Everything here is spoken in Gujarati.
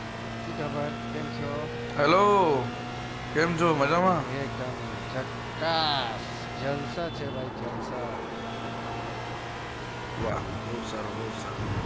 સુ ખબર કેમ છો મજ્જા માં એક દમ જક્કાસ જલસા છે ભાઈ વા બો સારું બો સારું